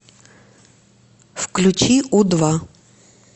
включи у два